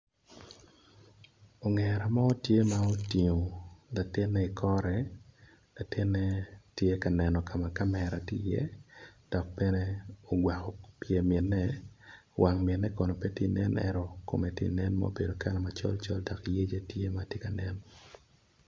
Ongera mo tye ma otingo latine ikore latine tye ka neno kama kamera tye i ye dok bene ogwako kor mine wang mine kono pe tye nen ento kome tye nen ma ne kala macol col dok yece tye matye ka nen.